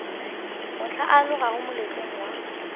mohla o alogago moletlong wa